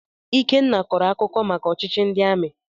Ikenna kọrọ akụkọ maka ọchịchị ndị amị.